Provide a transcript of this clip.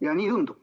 Ja nii tundub.